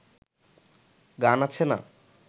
গান আছে না